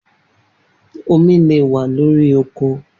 Omi le wa lori oko